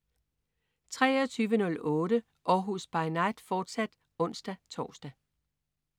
23.08 Århus By Night, fortsat (ons-tors)